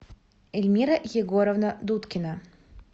эльмира егоровна дудкина